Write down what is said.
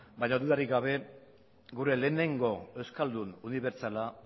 baina dudarik gabe gure lehenengo euskaldun unibertsala